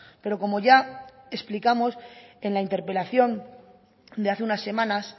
pero como ya explicamos en la interpelación de hace unas semanas